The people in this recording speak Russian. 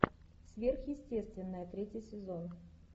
сверхъестественное третий сезон